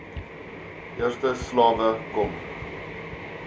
eerste slawe kom